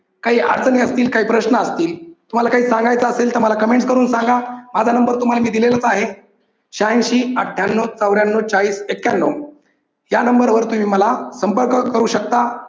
काही अडचणी असतील, काही प्रश्न असतील तुम्हाला काही सांगायचं असेल तर मला comments करून सांगा. माझा number मी तुम्हाला दिलेलाच आहे. श्यांशी अठ्ठ्यानौ चौऱ्यानौ चाळीस एक्यान्नौ या number वर तुम्ही मला संपर्क करू शकता.